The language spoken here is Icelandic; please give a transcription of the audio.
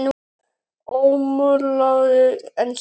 Ómáluð ennþá.